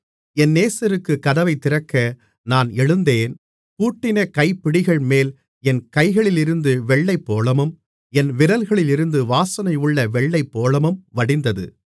என் நேசருக்குக் கதவைத் திறக்க நான் எழுந்தேன் பூட்டின கைப்பிடிகள்மேல் என் கைகளிலிருந்து வெள்ளைப்போளமும் என் விரல்களிலிருந்து வாசனையுள்ள வெள்ளைப்போளமும் வடிந்தது